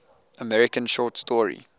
american short story